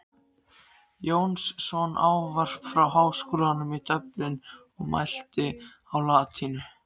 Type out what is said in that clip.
Jónsson ávarp frá Háskólanum í Dublin og mælti á latínu.